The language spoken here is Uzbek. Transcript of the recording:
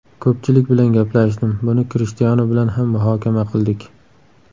Ko‘pchilik bilan gaplashdim, buni Krishtianu bilan ham muhokama qildik.